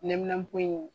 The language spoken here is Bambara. Nɛminanpo in